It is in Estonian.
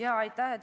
Aitäh!